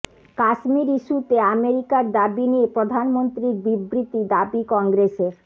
কাশ্মীর ইস্যুতে আমেরিকার দাবি নিয়ে প্রধানমন্ত্রীর বিবৃতি দাবি কংগ্রেসের